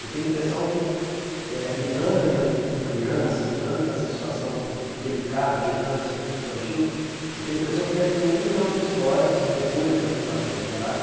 Eu tenho a impressão que eh, lidando ainda com criança, lidando com essa situação delicada, que é o câncer infantil, eu tenho a impressão que deve ter um milhão de histórias depois da fundação do GRAAC.